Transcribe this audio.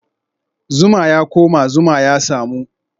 Zuma ya koma, zuma ya samu